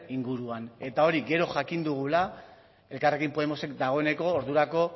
inguruan eta hori gero jakin dugula elkarrekin podemosek dagoeneko ordurako